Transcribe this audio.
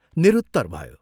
निरुत्तर भयो।